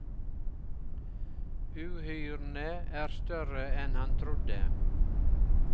Uhyrene er større enn han trodde.